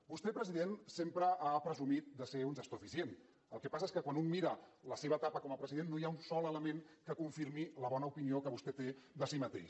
vostè president sempre ha presumit de ser un gestor eficient el que passa és que quan un mira la seva etapa com a president no hi ha un sol element que confirmi la bona opinió que vostè té de si mateix